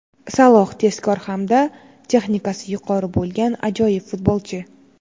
Saloh – tezkor hamda texnikasi yuqori bo‘lgan ajoyib futbolchi.